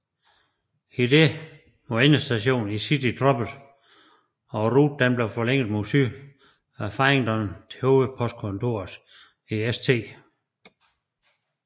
I dette var endestationen i City droppet og ruten forlænget mod syd fra Farringdon til hovedpostkontoret i St